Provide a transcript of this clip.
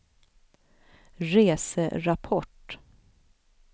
reserapport